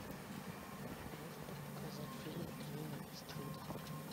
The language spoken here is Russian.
можешь показать фильм клина иствуда